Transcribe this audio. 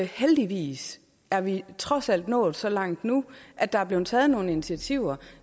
heldigvis er vi trods alt nået så langt nu at der er blevet taget nogle initiativer